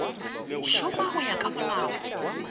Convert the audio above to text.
šoma go ya ka molao